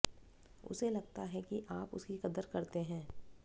उसे लगता है कि आप उसकी कदर करते हैं